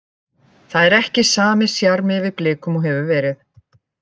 Það er ekki sami sjarmi yfir Blikum og hefur verið.